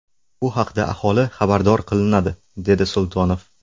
Bu haqda aholi xabardor qilinadi”, dedi Sultonov.